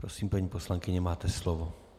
Prosím, paní poslankyně, máte slovo.